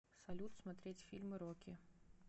салют смотреть фильмы рокки